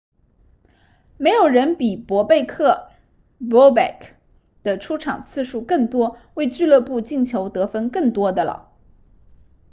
没有人比博贝克 bobek 的出场次数更多为俱乐部进球得分更多的了